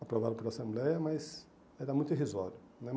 aprovado pela Assembleia, mas era muito irrisório né.